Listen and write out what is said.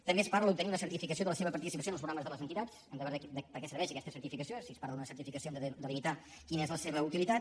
també es parla d’obtenir una certificació de la seva participació en els programes de les entitats hem de veure per què serveix aquesta certificació si es parla d’una certificació hem de delimitar quina és la seva utilitat